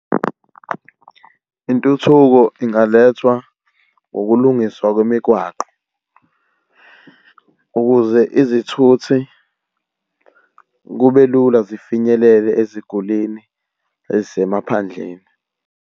Intuthuko ingalethwa ukulungiswa kwemigwaqo, ukuze izithuthi kube lula zifinyelele ezigulini ezisemaphandleni.